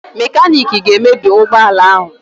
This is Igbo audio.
Mekaniki ga-emebi ụgbọala ahụ